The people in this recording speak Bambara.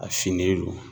A finnen don